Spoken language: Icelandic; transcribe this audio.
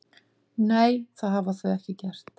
Nei, það hafa þau ekki gert